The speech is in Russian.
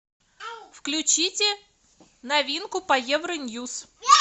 включите новинку по евро ньюс